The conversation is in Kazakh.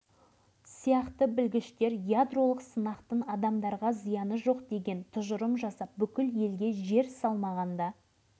олар әскери басшылық ықпалынан шығып нақты жағдайды көрсетіп қорытынды жасай ала ма бұдан кейін академик